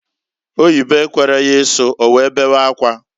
Oyibo ekwere ya isu, owee bewe akwa.